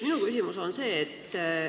Minu küsimus on selline.